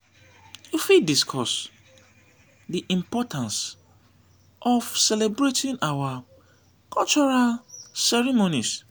you fit discuss di importance of celebrating our cultural ceremonies.